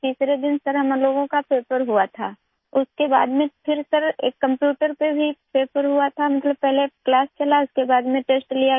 तीसरे दिन सर हम लोगों का पेपर हुआ था उसके बाद में फिर सर एक कम्प्यूटर पे भी पेपर हुआ था मतलब पहले क्लास चला उसके बाद में टेस्ट लिया गया